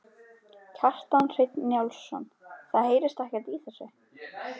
Kjartan Hreinn Njálsson: Það heyrist ekkert í þessu?